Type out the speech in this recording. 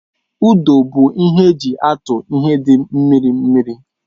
Ụdụ bụ ihe eji atu ihe dị mmiri mmiri